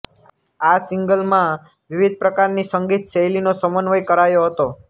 આ સિંગલમાં વિવિધ પ્રકારની સંગીત શૈલીનો સમન્વય કરાયો હતો